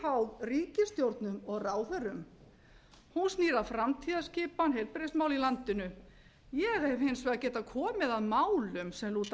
óháð ríkisstjórnum og ráðherrum hún snýr að framtíðarskipan heilbrigðismála í landinu ég hef hins vegar getað komið að málum sem lúta að